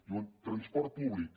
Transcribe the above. diuen transport públic